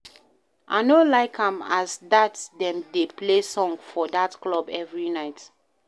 I no like as dat dem dey play song for dat club every night.